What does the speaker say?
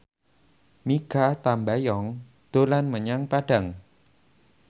Mikha Tambayong dolan menyang Padang